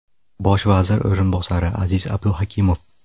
Bosh vazir o‘rinbosari Aziz Abduhakimov.